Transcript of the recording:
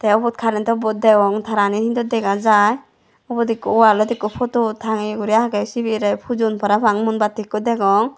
te ubot karento bot degong tarani hintu dega jai ubot ekko wallot ekko poto tangeye guri agey siberay pujon parapang mumbatti ekko degong.